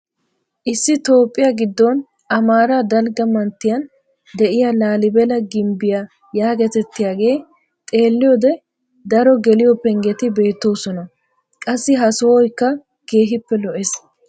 Issi toophphiyaa giddon amaaraa dalgga manttiyaan de'iyaa laalibela gimbbiyaa yaagetettiyaagee xeelliyoode daro geliyoo pengetti beettoosona. qassi ha sohoykka keehippe lo"ees.